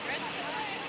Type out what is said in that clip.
Düzdür, düzdür.